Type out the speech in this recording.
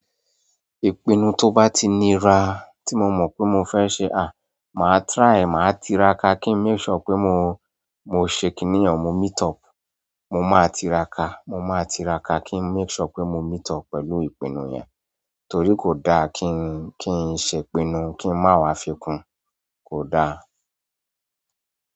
Ìpinnu tó bá tí nira tí mo mọ̀ pé mo fẹ́ ṣe, màá try e, màá tiraka kí n make sure pé mo ṣe kínní yàn, mo meet up. Mo máa tiraka, mo máa tiraka kí n make sure pé mo meet up pẹ̀lú ìpinnu yẹn. Torí kò dáa kìí ṣe ìpinnu kìí máa wa fii kún, kò dáa.